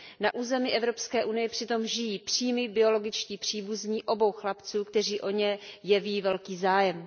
Na území Evropské unie přitom žijí přímí biologičtí příbuzní obou chlapců, kteří o ně jeví velký zájem.